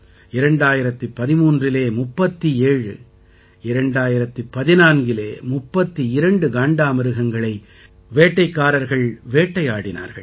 2013இலே 37 2014இலே 32 காண்டாமிருகங்களை வேட்டைக்காரர்கள் வேட்டையாடினார்கள்